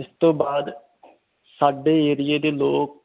ਇਸ ਤੋਂ ਬਾਦ ਸਾਡੇ ਏਰੀਏ ਦੇ ਲੋਕ